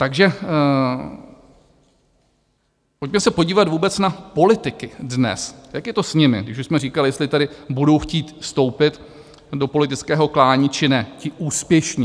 Takže pojďme se podívat vůbec na politiky dnes, jak je to s nimi, když už jsme říkali, jestli tady budou chtít vstoupit do politického klání, či ne, ti úspěšní.